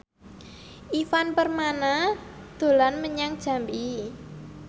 Ivan Permana dolan menyang Jambi